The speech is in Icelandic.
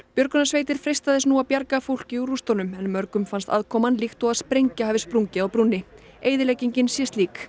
björgunarsveitir freista þess nú að bjarga fólki úr rústunum en mörgum finnst aðkoman líkt og sprengja hafi sprungið á brúnni eyðileggingin sé slík